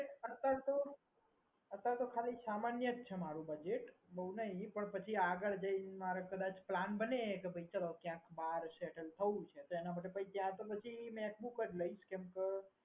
અત્યારે તો અત્યારે તો ખાલી સામાન્ય જ છે budget બહુ નહીં પણ પણ આગડ જઈને પછી plan બને કે ચાલો ક્યાંક બહાર settle થવું છે એના માટે તો પછી ત્યાં તો પછી macbook જ લઇશ કેમ કે